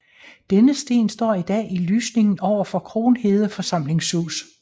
Denne sten står i dag i lysningen overfor Kronhede forsamlingshus